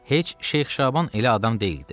Heç Şeyx Şaban elə adam deyildi.